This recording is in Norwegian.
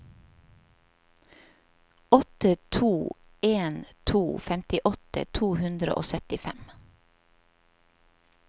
åtte to en to femtiåtte to hundre og syttifem